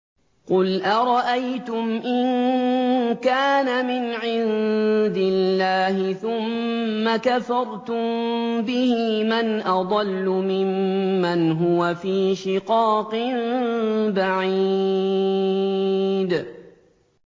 قُلْ أَرَأَيْتُمْ إِن كَانَ مِنْ عِندِ اللَّهِ ثُمَّ كَفَرْتُم بِهِ مَنْ أَضَلُّ مِمَّنْ هُوَ فِي شِقَاقٍ بَعِيدٍ